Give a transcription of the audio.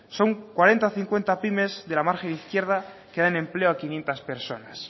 son cuarenta cincuenta pymes de la margen izquierda que dan empleo a quinientos personas